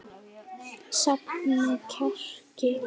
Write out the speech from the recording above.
Safna kjarki.